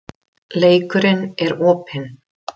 Leikurinn er opinn